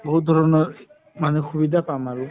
বহুত ধৰণৰ মানে সুবিধা পাম আৰু